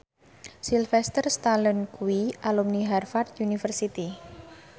Sylvester Stallone kuwi alumni Harvard university